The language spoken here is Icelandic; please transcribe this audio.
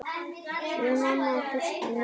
Við mamma þurftum nálægð.